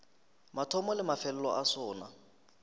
mathomo le mafelelo a sona